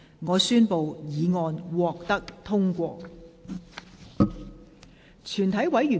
我宣布議案獲得通過。